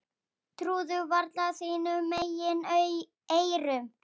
Trúðu varla sínum eigin eyrum.